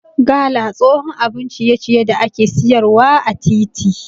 Gala tsohon abun ciye ciye da ake siyar wa ã titi.